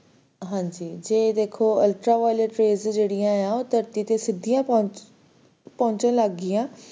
ਹਾਂਜੀ ਜੇ ਦੇਖੋ ultraviolet rays ਜੇਹਦੀਈਆਂ ਆ ਉਹ ਧਰਤੀ ਤੇ ਸਿਧੀਆਂ ਪਹੁੰਚਣ ਲੱਗ ਗਈਆਂ